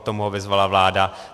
K tomu ho vyzvala vláda.